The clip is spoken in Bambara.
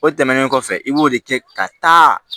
O tɛmɛnen kɔfɛ i b'o de kɛ ka taa